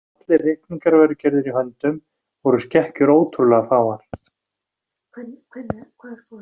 Þótt allir reikningar væru gerðir í höndum voru skekkjur ótrúlega fáar.